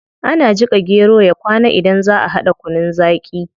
Ana jika gero ya kwana idan zaa a hada kunun zaqi